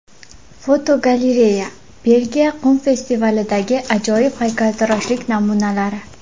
Fotogalereya: Belgiya qum festivalidagi ajoyib haykaltaroshlik namunalari.